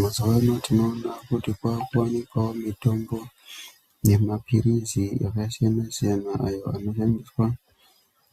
Mazuwano tinoona kuti kwakuwanikawo mitombo nemaphirizi akasiyana siyana ayo anoshandiswa